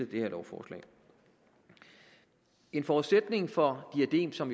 det her lovforslag en forudsætning for diadem som